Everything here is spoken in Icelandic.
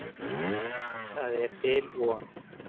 En það er til von.